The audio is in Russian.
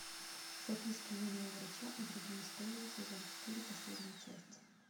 записки юного врача и другие истории сезон четыре последняя часть